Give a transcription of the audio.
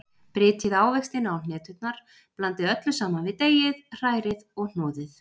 Brytjið ávextina og hneturnar, blandið öllu saman við deigið, hrærið og hnoðið.